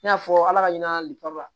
I n'a fɔ ala ka ɲina liwari